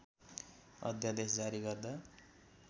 अध्‍यादेश जारी गर्दा